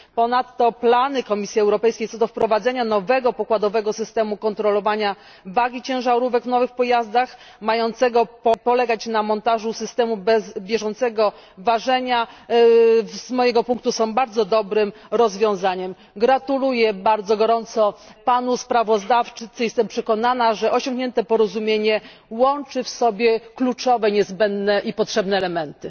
Ponadto plany Komisji Europejskiej co do wprowadzenia nowego pokładowego systemu kontrolowania wagi ciężarówek w nowych pojazdach, mającego polegać na montażu systemu bieżącego ważenia, są z mojego punktu bardzo dobrym rozwiązaniem. Gratuluję bardzo gorąco panu sprawozdawcy, jestem przekonana, że osiągnięte porozumienie łączy w sobie kluczowe, niezbędne i potrzebne elementy.